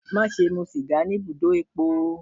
Maṣe mu siga ni ibudo epo!